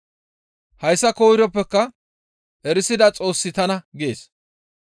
Hayssa koyroppeka erisida Xoossi tana› gees.